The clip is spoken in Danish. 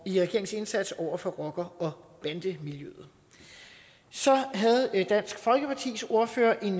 i regeringens indsats over for rocker og bandemiljøer så havde dansk folkepartis ordfører en